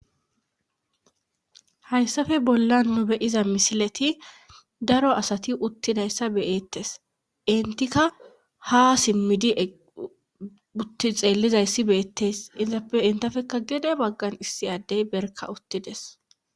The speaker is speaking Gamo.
hayssafe bolla nu beyiza misileti daro asati uttidayssa beyettes intika ha simmidi utti xeellizayssi beettes isappe intafekka gede baggan issi addey berka uttides